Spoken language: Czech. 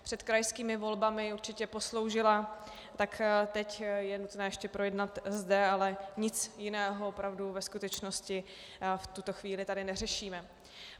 Před krajskými volbami určitě posloužila, tak teď je nutné ještě projednat zde, ale nic jiného opravdu ve skutečnosti v tuto chvíli tady neřešíme.